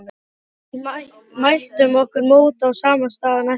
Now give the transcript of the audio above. Við mæltum okkur mót á sama stað næsta dag.